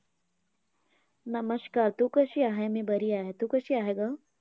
नमस्कार! तू कशी आहे? मी बरी आहे. तू कशी आहे गं?